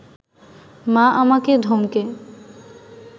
মা আমাকে ধমকে